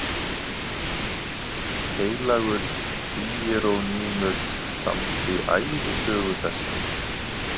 Heilagur Híerónýmus samdi ævisögu þessa